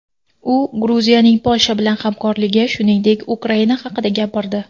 U Gruziyaning Polsha bilan hamkorligi, shuningdek, Ukraina haqida gapirdi.